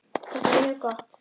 Þetta er mjög gott.